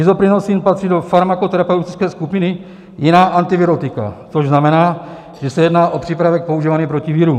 Isoprinosin patří do farmakoterapeutické skupiny jiná antivirotika, což znamená, že se jedná o přípravek používaný proti virům.